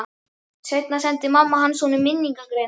Seinna sendi mamma hans honum minningargreinarnar.